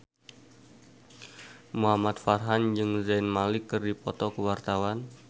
Muhamad Farhan jeung Zayn Malik keur dipoto ku wartawan